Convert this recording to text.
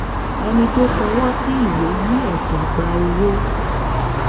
ẹni tó fọwọ́ sí ìwé ní ẹ̀tọ́ gba owó